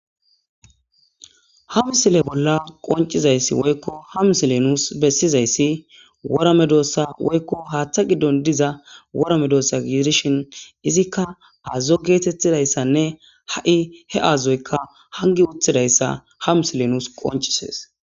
Ha misile bolla qonccizayssi woykko ha misilee nuus bessizayssi wora medoossa woykko haaththa giddon diza wora meedossa gidishin izikka aazzo geetheththidayssanne ha7i he aazoykka hanggi uththidayssa ha misilee nuus qonccissees.